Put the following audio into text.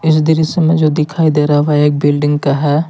यह दृश्य जो दिखाई दे रहा है वह एक बिल्डिंग का है।